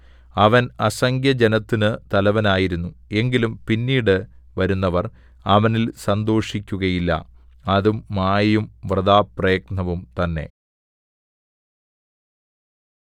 അവൻ അസംഖ്യജനത്തിന് തലവനായിരുന്നു എങ്കിലും പിന്നീട് വരുന്നവർ അവനിൽ സന്തോഷിക്കുകയില്ല അതും മായയും വൃഥാപ്രയത്നവും തന്നെ